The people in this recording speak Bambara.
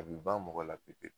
A bi ban mɔgɔ la pewu pewu